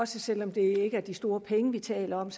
selv om det ikke er de store penge vi taler om